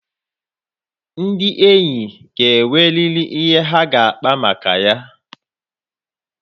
Ndị enyi ga enweriri ihe ha ga-akpa maka ya